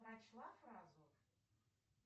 прочла фразу